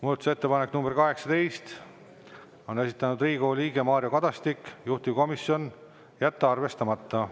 Muudatusettepanek nr 18, on esitanud Riigikogu liige Mario Kadastik, juhtivkomisjon: jätta arvestamata.